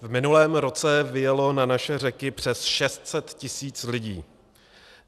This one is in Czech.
V minulém roce vyjelo na naše řeky přes 600 tisíc lidí.